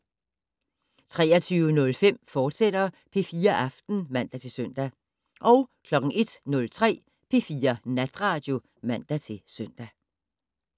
23:05: P4 Aften, fortsat (man-søn) 01:03: P4 Natradio (man-søn)